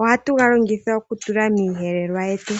Ohatu galongitha oku tula miiyelelwa yetu.